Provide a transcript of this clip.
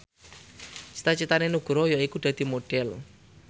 cita citane Nugroho yaiku dadi Modhel